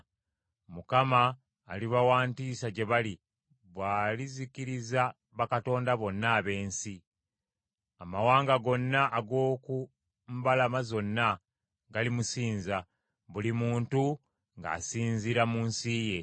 Mukama aliba wa ntiisa gye bali bw’alizikiriza bakatonda bonna ab’ensi. Amawanga gonna ag’oku mbalama zonna galimusinza, buli muntu ng’asinziira mu nsi ye.